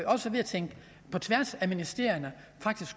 også ved at tænke på tværs af ministerierne